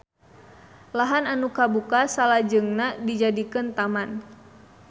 Lahan anu kabuka salajengna dijadikeun taman